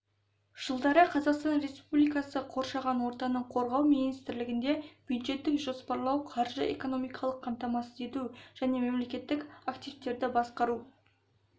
жылдары қазақстан республикасы қоршаған ортаны қорғау министрлігінде бюджеттік жоспарлау қаржы-экономикалық қамтамасыз ету және мемлекеттік активтерді басқару